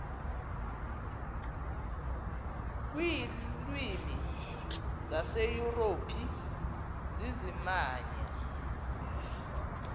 kwiilwimi zaseyurophu zizimamva